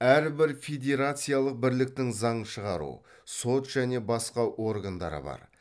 әрбір федерациялық бірліктің заң шығару сот және басқа органдары бар